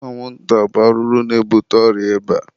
anwụnta bụ arụrụ na-ebute ọrịa ịba.